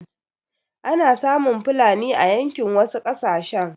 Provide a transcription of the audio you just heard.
Ana samun fulani a yankin wasu ƙasashen.